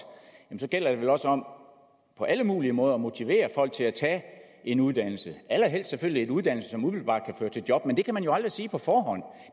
og så gælder det vel også om på alle mulige måder at motivere folk til at tage en uddannelse allerhelst selvfølgelig en uddannelse som umiddelbart kan føre til job men det kan man jo aldrig sige på forhånd